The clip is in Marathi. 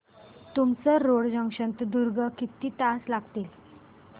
तुमसर रोड जंक्शन ते दुर्ग किती तास लागतील